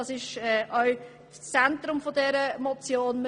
Das steht im Zentrum dieser Motion.